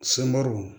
Sunbaro